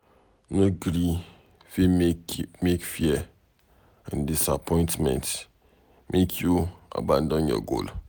No gree make fear and disappointment make you abandon your goal.